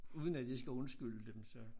Uden at det skal undskylde dem så